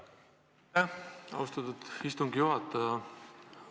Aitäh, austatud istungi juhataja!